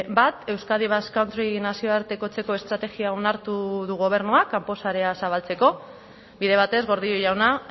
bat euskadi basque country nazioartekotzeko estrategia onartu du gobernuak kanpo sarea zabaltzeko bide batez gordillo jauna